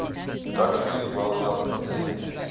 gottfried wilhelm leibniz